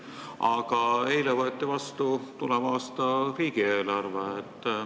Aga eile võeti vastu tuleva aasta riigieelarve.